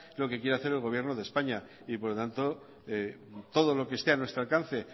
lo que quiere hacer el gobierno de españa y por lo tanto todo lo que esté a nuestro alcance